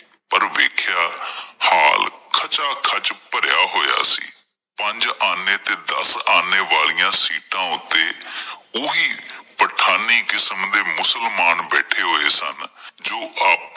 ਪਰ ਵੇਖਿਆ ਹਾਲ ਖਚਾ ਖਚ ਭਰਿਆ ਹੋਆ ਸੀ, ਪੰਜ ਆਨੇ ਤੇ ਦੱਸ ਆਨੇ ਵਾਲਿਆਂ ਸੀਟਾਂ ਉੱਤੇ ਓਹੀ ਪਠਾਣੀ ਕਿਸਮ ਦੇ ਮੁਸਲਮਾਨ ਬੈਠੇ ਹੋਏ ਸਨ, ਜੋ ਆਪ